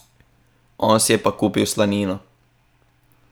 On si je pa kupil slanino.